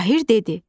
Tahir dedi: